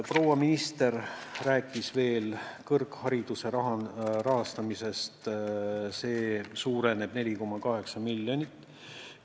Proua minister rääkis veel kõrghariduse rahastamisest, mis suureneb 4,8 miljonit.